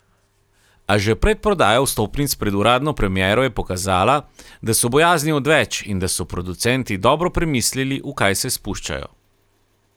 A že predprodaja vstopnic pred uradno premiero je pokazala, da so bojazni odveč in da so producenti dobro premislili, v kaj se spuščajo.